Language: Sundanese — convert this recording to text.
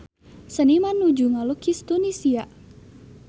Seniman nuju ngalukis Tunisia